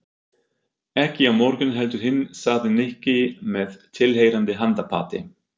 Ekki á morgun heldur hinn sagði Nikki með tilheyrandi handapati.